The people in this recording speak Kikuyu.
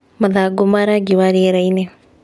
Mathangũ ma rangi wa rĩera-inĩ